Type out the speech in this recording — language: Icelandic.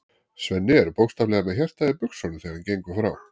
Svenni er bókstaflega með hjartað í buxunum þegar hann gengur frá